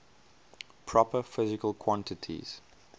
proper physical quantities